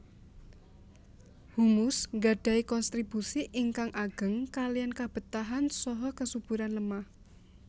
Humus gadahi konstribusi ingkang ageng kaliyan kabetahan saha kesuburan lemah